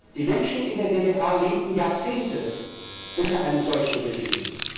Die Menschen in der DDR lebten Jahrzehnte unter einem solchen Regime.